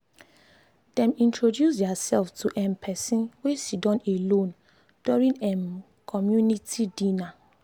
dem introduce their self to um person wey siddon alone during um community dinner. community dinner.